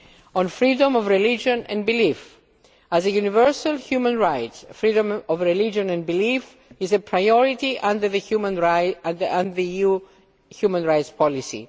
On freedom of religion and belief as a universal human right, freedom of religion and belief is a priority under the EU human rights policy.